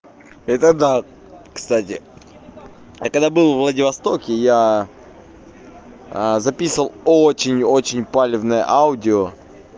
это да кстати я когда был во владивостоке и я записывал очень очень палевные аудио